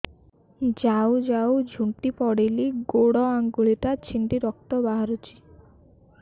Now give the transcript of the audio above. ଯାଉ ଯାଉ ଝୁଣ୍ଟି ପଡ଼ିଲି ଗୋଡ଼ ଆଂଗୁଳିଟା ଛିଣ୍ଡି ରକ୍ତ ବାହାରୁଚି